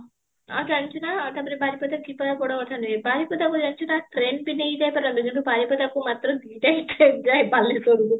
ହଁ ଚାଲିଛି ନା ତାପରେ ବାରିପଦା ଯିବା ବଡ଼ କଥା ନୁହେଁ ବାରିପଦା ଜାଣିଚୁ ନା ଟ୍ରେନ ବି ନେଇ ଯାଇ ପାରନ୍ତି ତେଣୁ ବାରିପଦା କୁ ମାତ୍ର ଦୁଇଟା ହିଁ train ଯାଏ ବାଲେଶ୍ୱରକୁ